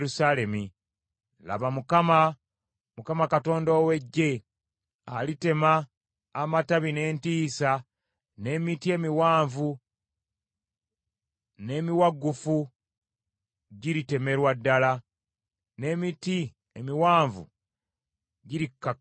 Laba, Mukama, Mukama Katonda ow’Eggye, alitema amatabi n’entiisa n’emiti emiwanvu n’emiwagguufu giritemerwa ddala, n’emiti emiwanvu girikkakkanyizibwa.